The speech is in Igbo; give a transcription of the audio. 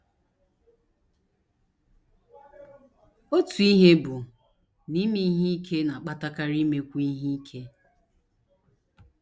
Otu ihe bụ na ime ihe ike na - akpatakarị imekwu ihe ike.